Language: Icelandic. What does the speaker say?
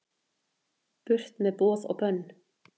Burt með boð og bönn